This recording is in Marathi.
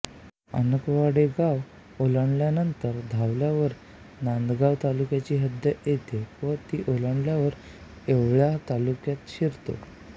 अनाकवाडे गाव ओलांडल्यानंतर धावल्यावर नांदगाव तालुक्याची हद्द येते व ती ओलांडल्यावर येवला तालुक्यात शिरतो